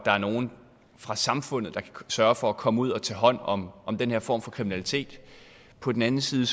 er nogle fra samfundet der kan sørge for at komme ud at tage hånd om den her form for kriminalitet på den anden side